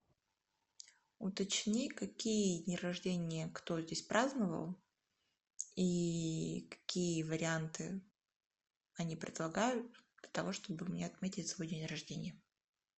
уточни какие дни рождения кто здесь праздновал и какие варианты они предлагают для того чтобы мне отметить свой день рождения